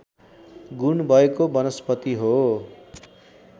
गुण भएको वनस्पति हो